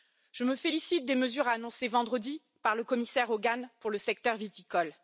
Je me félicite des mesures annoncées vendredi par le commissaire Hogan pour le secteur viticole.